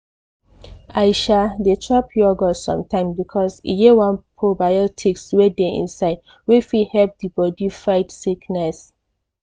i um dey chop yogurt sometimes because e get one probiotics wey dey inside wey fit help di body fight sickness.